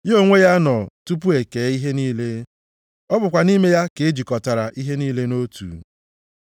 Ya onwe ya nọ tupu ekee ihe niile, ọ bụkwa nʼime ya ka ejikọtara ihe niile nʼotu.